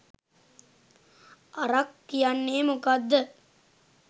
අරක් කියන්නේ මොකක්ද